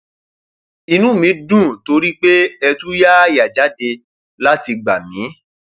inú mi dùn torí pé ẹ tú yááyà jáde láti gbà mí